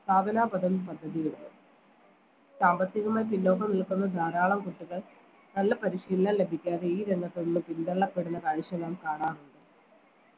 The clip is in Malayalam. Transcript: പദ്ധതിയുടെ സാമ്പത്തികമായി പിന്നോക്കം നിൽക്കുന്ന ധാരാളം കുട്ടികൾ നല്ല പരിശീലനം ലഭിക്കാതെ ഈ രംഗത്ത് നിന്നും പിന്തള്ളപ്പെടുന്ന കാഴ്ച നാം കാണാറുണ്ട്